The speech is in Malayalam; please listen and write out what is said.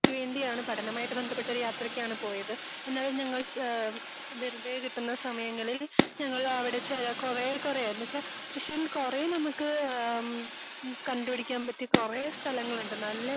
വേണ്ടിയാണ് പഠനമായി ബന്ധപ്പെട്ടുള്ള ഒരു യാത്രക്കാണ് പോയത്. എന്നാൽ ഞങ്ങൾ ഏഹ് വെറുതെ കിട്ടുന്ന സമയങ്ങളിൽ ഞങ്ങൾ അവിടെ കുറേ കുറേ എന്ന് വെച്ചാൽ കുറേ നമുക്ക് ഏഹ് കണ്ട് പഠിക്കാൻ പറ്റിയ കുറേ സ്ഥലങ്ങളുണ്ട്. നല്ല